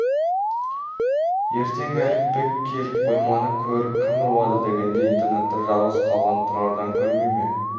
ертең әліпбек келіп қойманы көріп кім ұрлады дегенде интернатта жалғыз қалған тұрардан көрмей ме